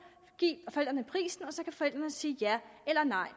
give forældrene prisen og så kan forældrene sige ja eller nej